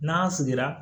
N'an sigira